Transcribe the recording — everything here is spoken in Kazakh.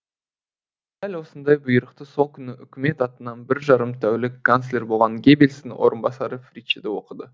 дәл осындай бұйрықты сол күні үкімет атынан бір жарым тәулік канцлер болған геббельстің орынбасары фриче де оқыды